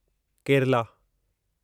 Kerala